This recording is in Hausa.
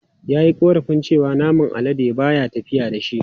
Ya yi korafin cewa naman alade ba ya tafiya da shi.